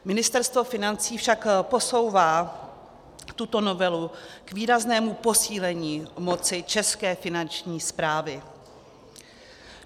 Ministerstvo financí však posouvá tuto novelu k výraznému posílení moci české Finanční správy.